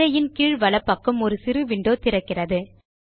திரையின் கீழ் வலப்பக்கம் ஒரு சிறு விண்டோ திறக்கிறது